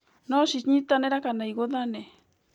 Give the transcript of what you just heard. No cinyitanĩre kana igũthane